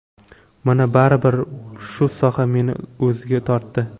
Mana baribir shu soha meni o‘ziga tortdi.